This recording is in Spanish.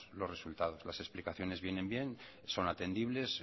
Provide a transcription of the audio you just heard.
los resultados las explicaciones vienen bien son atendibles